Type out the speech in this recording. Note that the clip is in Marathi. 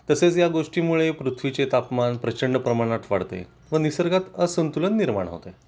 तसेच या गोष्टी मुळे पृथ्वी चे तापमान प्रचंड प्रमाणात वाढते व निसर्गात असंतुलन निर्माण होते